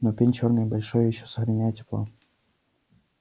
но пень чёрный и большой ещё сохраняет тепло